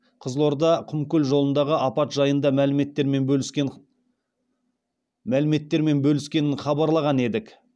қызылорда құмкөл жолындағы апат жайында мәліметтермен бөліскенін хабарлаған едік